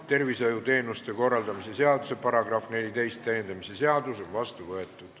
Tervishoiuteenuste korraldamise seaduse § 14 täiendamise seadus on vastu võetud.